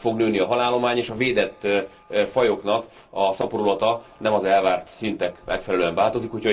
Nem fog nőni a halállomány, és a védett fajoknak a szaporulata nem az elvárt szintnek megfelelően változik.